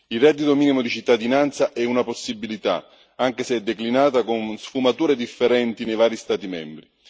Il reddito minimo di cittadinanza è una possibilità, anche se declinata con sfumature differenti nei vari Stati membri.